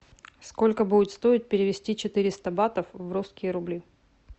сколько будет стоить перевести четыреста батов в русские рубли